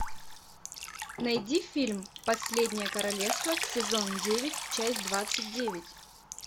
найди фильм последнее королевство сезон девять часть двадцать девять